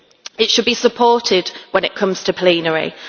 It should be supported when it comes to plenary.